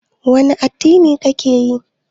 Wani addini ka ke yi?